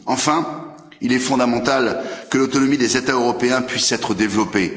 Enfin, il est fondamental que l'autonomie des États européens puisse être développée.